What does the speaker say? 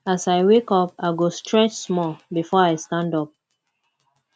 as i wake up i go stretch small before i stand up